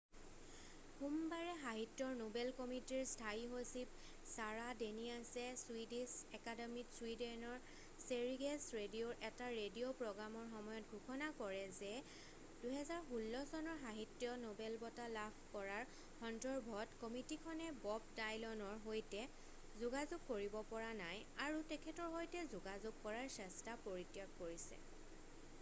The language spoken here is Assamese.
সোমবাৰে সাহিত্যৰ নোবেল কমিটিৰ স্থায়ী সচিব ছাৰা ডেনিয়াছে ছুইডিছ একাডেমীত ছুইডেনৰ স্বেৰিগেছ ৰেডিঅ'ৰ এটা ৰেডিঅ' প্ৰগ্ৰামৰ সময়ত ঘোষণা কৰে যে 2016 চনৰ সাহিত্য নোবেল বঁটা লাভ কৰাৰ সন্দৰ্ভত কমিটিখনে বব ডায়লনৰ সৈতে যোগাযোগ কৰিব পৰা নাই আৰু তেখেতৰ সৈতে যোগাযোগ কৰাৰ চেষ্টা পৰিত্যাগ কৰিছে